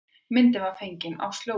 Myndin var fengin á slóðinni